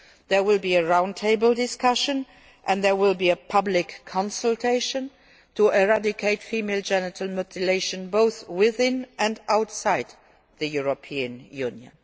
There will be a round table discussion and a public consultation to eradicate female genital mutilation both within and outside the European